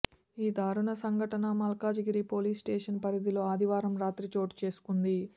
ఈ దారుణ సంఘటన మల్కాజిగిరి పోలీస్ స్టేషన్ పరిధిలో ఆదివారం రాత్రి చోటుచేసుకుంది